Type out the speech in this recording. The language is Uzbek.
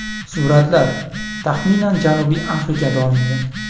Suratlar, taxminan Janubiy Afrikada olingan.